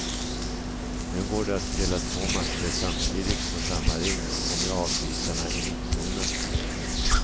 Nu går det att spela två matcher samtidigt på samma rink och med avbytarna i mittzonen.